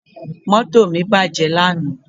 Moto mi baje lana